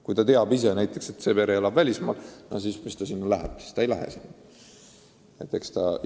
Kui ta teab, et pere elab välismaal, siis ta ei hakka registritest andmeid otsima.